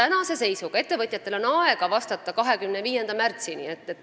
Neil on aega vastata 25. märtsini.